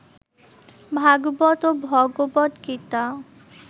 ভাগবত ও ভগবদ্গীতা